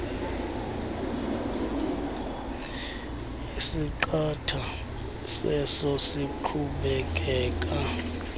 esiqatha seso siqhubekeka